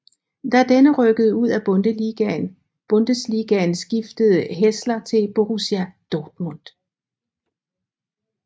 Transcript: Da denne rykkede ud af Bundesligaen skiftede Hässler til Borussia Dortmund